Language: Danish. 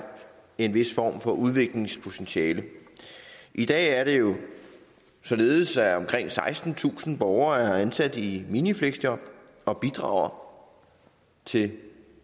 en vis form for udviklingspotentiale i dag er det jo således at omkring sekstentusind borgere er ansat i minifleksjob og bidrager til